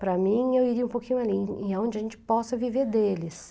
Para mim, eu iria um pouquinho ali, onde a gente possa viver deles.